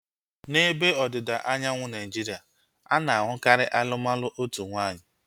N'ebe ọdịda anyanwụ Naijiria, ana-ahukari alụmalụ otu nwaanyị